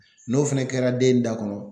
N'o fɛnɛ kɛra den da kɔnɔ